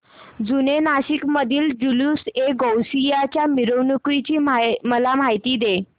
जुने नाशिक मधील जुलूसएगौसिया च्या मिरवणूकीची मला माहिती दे